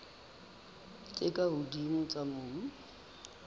tse ka hodimo tsa mobu